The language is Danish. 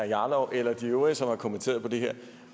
jarlov eller de øvrige som har kommenteret det her